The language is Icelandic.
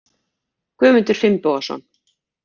Guðmundur Finnbogason